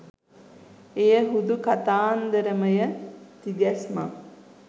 එය හුදු කතාන්දරමය තිගැස්මක්